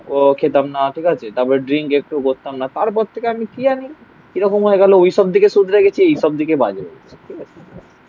ও খেতাম না ঠিক আছে তারপরে ড্রিঙ্ক একটু বসতাম না তারপর থেকে আমি কি জানি কি রকম হয়ে গেলো ওইসব দিকে সুধরে গেছি এই সব দিকে বাজে ঠিক আছে